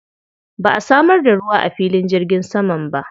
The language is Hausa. Ba a samar da ruwa a filin jirgin saman ba.